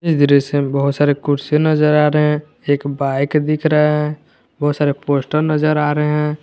इस चित्र में बहुत सारे कुर्सी नज़र आ रहे हैं एक बाइक दिख रहा है बहुत सारे पोस्टर नज़र आ रहे हैं।